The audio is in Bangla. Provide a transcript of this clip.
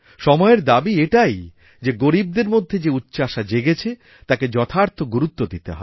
সময়েরদাবি এটাই যে গরীবদের মধ্যে যে উচ্চাশা জেগেছে তাকে যথার্থ গুরুত্ব দিতে হবে